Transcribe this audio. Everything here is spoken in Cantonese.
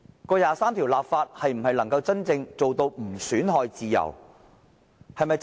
就第二十三條的立法能否真正做到不損害自由？